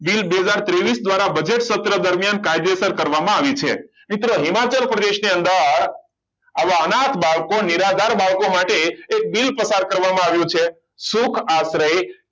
bill બે હજાર ત્રેવિસ દ્વારા બજેટ પત્ર દરમિયાન કાયદેસર કરવામાં આવ્યું છે મિત્ર હિમાચલ પ્રદેશની અંદર આવા અનાર્થ બાળકોને નિરાધાર બાળકો માટે એ બિલ પત્ર પસાર કરવામાં આવ્યું છે સુખ આશરે